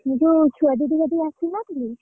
ଯୋଉ ଛୁଆ ଦିଦିଙ୍କ କତିକି ଆସିନଥିଲି!